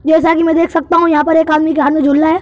जैसा कि मैं देख सकता हूं यहाँ पर एक आदमी के हाथ में झूला है।